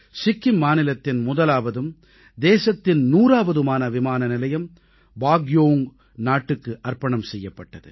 சிக்கிம் மாநிலத்தின் முதலாவதும் தேசத்தின் 100ஆவதுமான விமானநிலையம் பாக்யோங் நாட்டுக்கு அர்ப்பணம் செய்யப்பட்டது